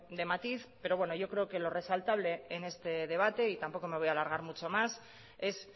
de matiz pero yo creo que lo resaltable en este debate y tampoco me voy a alargar mucho más es